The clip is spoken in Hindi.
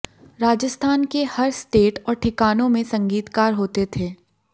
राजस्थान के हर स्टेट और ठिकानो में संगीतकार होते थे